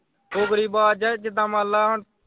ਫੁੱਕਰੀਬਾਜ ਜਾ ਜਿੱਦਾ ਮੰਨ ਲਾ।